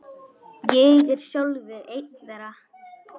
Ég er sjálfur einn þeirra.